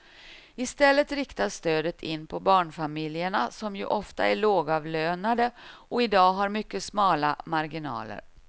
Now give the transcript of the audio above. I stället riktas stödet in på barnfamiljerna som ju ofta är lågavlönade och i dag har mycket smala marginaler.